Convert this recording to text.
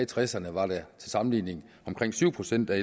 tresserne var det til sammenligning omkring syv procent af